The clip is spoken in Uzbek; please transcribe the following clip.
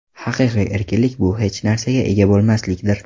Haqiqiy erkinlik bu hech narsaga ega bo‘lmaslikdir.